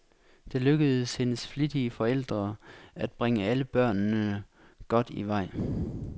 Det lykkedes hendes flittige forældre at bringe alle børnene godt i vej.